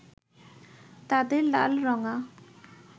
তাদের লালরঙা